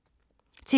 TV 2